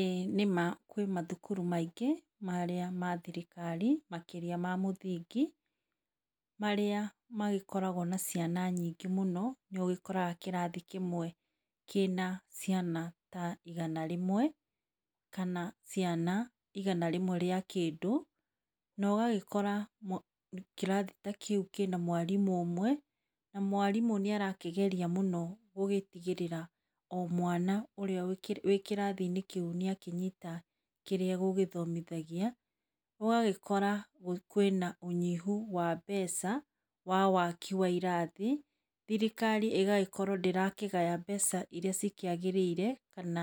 Ĩĩ nĩma kwĩ mathukuru maingĩ marĩa mathirikari makĩria mamũthingi marĩa magĩkoragwo na ciana nyingĩ mũno. Nĩũgĩkoraga kĩrathi kĩmwe kĩna ciana ta igana rĩmwe kana ciana igana rimwe rĩa kĩndũ naũgagĩkora kĩrathi ta kĩu kĩna mwarimũ ũmwe na mwarimũ nĩ arakĩgeria mũno gũgĩtigĩrĩra omwana ũrĩa wĩ kĩrathi inĩ kĩu nĩakĩnyita kĩrĩa egũthomithagia. ũgagĩkora kwĩna ũnyihu wa mbeca wa waki wa irathi thirikari ĩgagĩkorwo ndĩrakĩgaya mbeca irĩa ciagĩrĩire kana